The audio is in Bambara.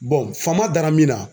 Bɔn fama dara min na